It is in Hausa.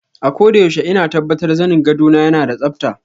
Akoda yaushe ina tabbatar zanin gwado na yana da tsabta.